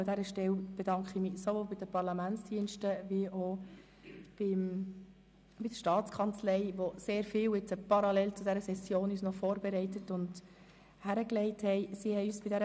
Ich bedanke mich bei den Parlamentsdiensten und der Staatskanzlei, die parallel zur Session sehr viel für uns vorbereitet und uns einen Vorschlag unterbreitet haben, wie wir das Problem zeitlich lösen können.